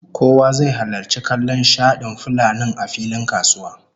Kowa zai halarci kallon shadin fulanin a filin kasuwa